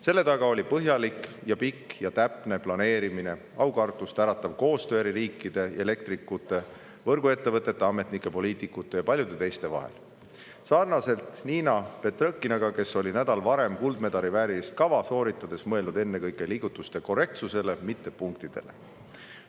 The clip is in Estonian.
Selle taga oli põhjalik, pikk ja täpne planeerimine, aukartust äratav koostöö eri riikide elektrikute, võrguettevõtete, ametnike, poliitikute ja paljude teiste vahel – sarnaselt Niina Petrõkinaga, kes oli nädal varem kuldmedali väärilist kava sooritades mõelnud ennekõike liigutuste korrektsusele, mitte punktidele.